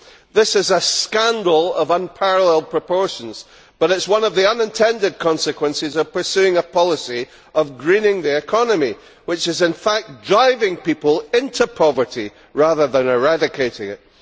This is a scandal of unparalleled proportions, but it is one of the unintended consequences of pursuing a policy of greening the economy, which is in fact driving people into poverty rather than eradicating it.